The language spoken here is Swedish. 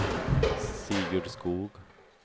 Sigurd Skog